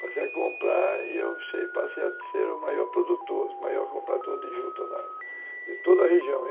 Passei a comprar e eu passei a ser o maior produtor, o maior comprador de juta de toda a região.